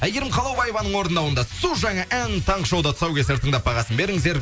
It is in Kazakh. әйгерім қалаубаеваның орындауында су жаңа ән таңғы шоуда тұсаукесер тыңдап бағасын беріңіздер